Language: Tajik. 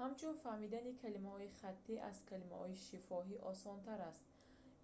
ҳамчунин фаҳмидани калимаҳои хаттӣ аз калимаҳои шифоҳӣ осонтар аст